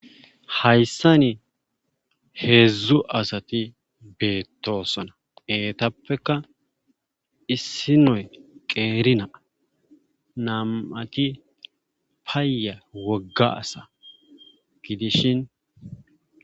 Hayssani heedzdzu asati beettosona eetappeka issinoy qeerinaa nam7ati paya wogga asa gidishin